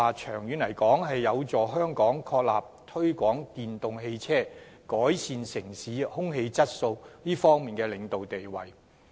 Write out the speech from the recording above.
長遠而言，這將有助香港確立推廣電動汽車，改善城市空氣質素方面的領導地位。